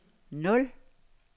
nul